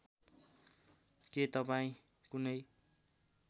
के तपाईँ कुनै